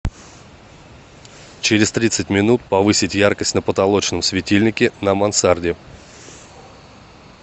через тридцать минут повысить яркость на потолочном светильнике на мансарде